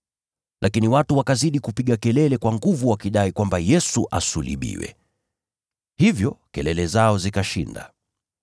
Lakini watu wakazidi kupiga kelele kwa nguvu zaidi, wakidai kwamba Yesu asulubiwe. Hivyo, kelele zao zikashinda.